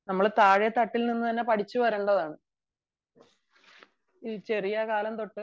നമ്മൾ താഴെ തട്ടിൽനിന്നു പഠിച്ചു തുടങ്ങേണ്ടതാണ് ചെറിയ കാലം തൊട്ട്